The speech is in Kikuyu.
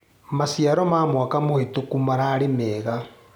Maciaro ma mwaka mũhetũku mararĩ mega.